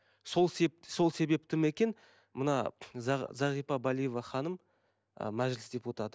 сол сол себепті ме екен мына зағипа балиева ханым ы мәжіліс депутаты